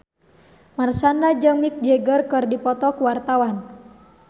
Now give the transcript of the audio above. Marshanda jeung Mick Jagger keur dipoto ku wartawan